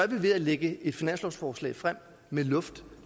vi ved at lægge et finanslovsforslag frem med luft